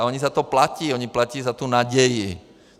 A oni za to platí, oni platí za tu naději.